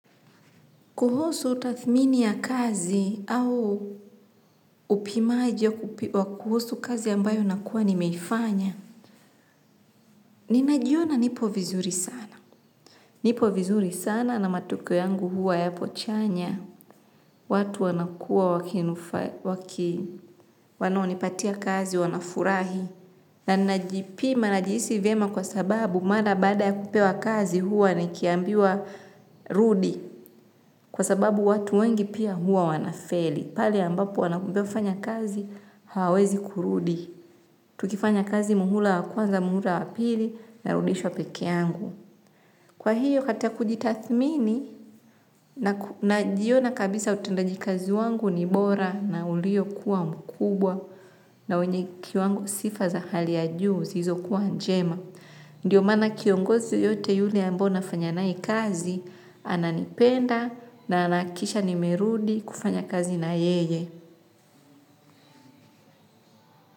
Kuhusu tathmini ya kazi au upimaji wa kuhusu kazi ambayo nakuwa nimeifanya, ninajiona nipo vizuri sana. Nipo vizuri sana na matokeo yangu huwa yapo chanya, watu wanakua wakinufa, waki, wanaonipatia kazi wanafurahi. Na najipima, najihisi vema kwa sababu mara baada ya kupewa kazi huwa nikiambiwa rudi. Kwa sababu watu wengi pia hua wanafeli. Pale ambapo wanakwambia kufanya kazi hawawezi kurudi. Tukifanya kazi muhula wa kwanza muhula wa pili narudishwa peke yangu. Kwahiyo katika kujitathmini najiona kabisa utendaji kazi wangu ni bora na uliokuwa mkubwa na wenye kiwango sifa za hali ya juu zilizokuwa njema. Ndiyo maana kiongozi yeyote yule ambaye nafanya nae kazi, ananipenda na anahakikisha nimerudi kufanya kazi na yeye.